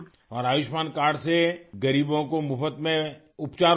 اور آیوشمان کارڈ سے غریبوں کو مفت میں علاج ہوتا ہے